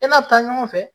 E n'a bi taa ɲɔgɔn fɛ